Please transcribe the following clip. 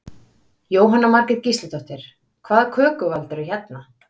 Jóhanna Margrét Gísladóttir: Hvaða köku valdirðu hérna?